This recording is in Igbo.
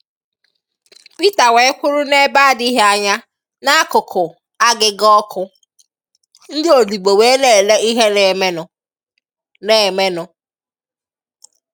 Peter wee kwụrụ n'ebe adịghị anya n'akụkụ/agịga ọkụ, ndị odibo wee na-ele ihe na-emenụ. na-emenụ.